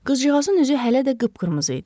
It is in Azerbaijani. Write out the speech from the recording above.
Qızcığazın üzü hələ də qıpqırmızı idi.